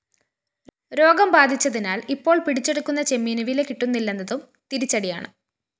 രോഗം ബാധിച്ചതിനാല്‍ ഇപ്പോള്‍ പിടിച്ചെടുക്കുന്ന ചെമ്മീന്‌ വില കിട്ടുന്നില്ലെന്നതും തിരിച്ചടിയാണ്‌